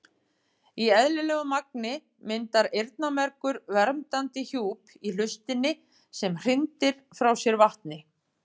Í eðlilegu magni myndar eyrnamergur verndandi hjúp í hlustinni sem hrindir frá sér vatni.